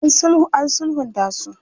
An sulhunta su.